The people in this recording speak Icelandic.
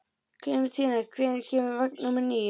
Klementína, hvenær kemur vagn númer níu?